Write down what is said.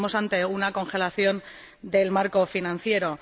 Estamos ante una congelación del marco financiero.